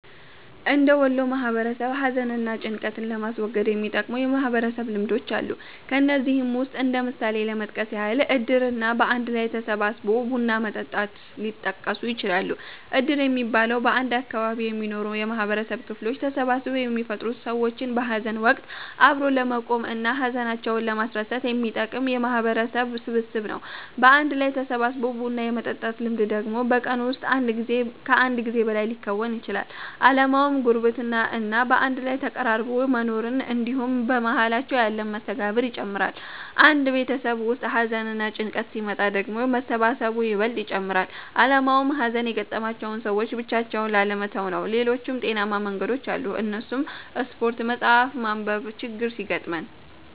እንደ ወሎ ማህበረሰብ ሀዘን እና ጭንቀትን ለማስወገድ የሚጠቅሙ የማህበረሰብ ልምዶች አሉ። ከነዚህም ውስጥ እንደ ምሳሌ ለመጥቀስ ያህል እድር እና በአንድ ላይ ተሰባስቦ ቡና መጠጣት ሊጠቀሱ ይችላሉ። እድር የሚባለው፤ በአንድ አካባቢ የሚኖሩ የማህበረሰብ ክፍሎች ተሰባስበው የሚፈጥሩት ሰዎችን በሀዘን ወቀት አብሮ ለመቆም እና ሀዘናቸውን ለማስረሳት የሚጠቅም የማህበረሰብ ስብስብ ነው። በአንድ ላይ ተሰባስቦ ቡና የመጠጣት ልምድ ደግሞ በቀን ውስጥ ከአንድ ጊዜ በላይ ሊከወን ይችላል። አላማውም ጉርብትና እና በአንድ ላይ ተቀራርቦ መኖርን እንድሁም በመሃላቸው ያለን መስተጋብር ይጨምራል። አንድ ቤተሰብ ውስጥ ሀዘንና ጭንቀት ሲመጣ ደግሞ መሰባሰቡ ይበልጥ ይጨመራል አላማውም ሀዘን የገጠማቸውን ሰዎች ብቻቸውን ላለመተው ነው። ሌሎችም ጤናማ መንገዶች አሉ እነሱም ስፓርት፣ መፀሀፍ ማንብ፤ ችግር ሲገጥመን